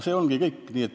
See ongi kõik.